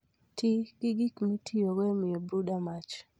Ti gi gik mitiyogo e miyo brooder mach.